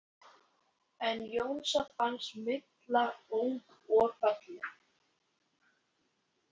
En Jónsa fannst Milla ung og falleg.